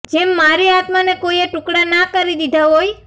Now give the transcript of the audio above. જેમ મારી આત્માને કોઈએ ટુકડા ના કરી દીધા હોય